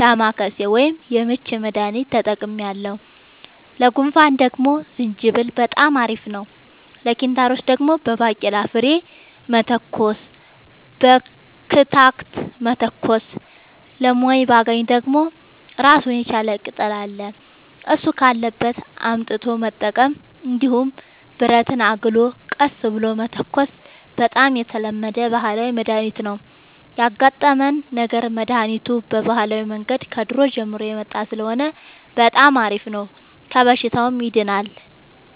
ዳማከሴ ወይም የምች መድሀኒት ተጠቅሜያለሁ ለጉንፋን ደግሞ ዝንጅብል በጣም አሪፍ ነው ለኪንታሮት ደግሞ በባቄላ ፍሬ መተኮስ በክትክታ መተኮስ ለሞይባገኝ ደግሞ እራሱን የቻለ ቅጠል አለ እሱ ካለበት አምጥቶ መጠቀም እንዲሁም ብረትን አግሎ ቀስ ብሎ መተኮስ በጣም የተለመደ ባህላዊ መድሀኒት ነው ያጋጠመን ነገር መድሀኒቱ በባህላዊ መንገድ ከድሮ ጀምሮ የመጣ ስለሆነ በጣም አሪፍ ነው ከበሽታውም ያድናል።